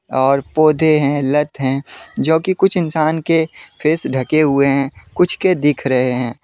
और पौधे हैं लत हैं जो कि कुछ इंसान के फेस ढके हुए हैं कुछ के दिख रहे हैं।